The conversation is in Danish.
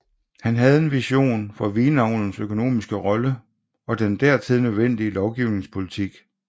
Han havde en vision for vinavlens økonomiske rolle og den dertil nødvendige lovgivningspolitik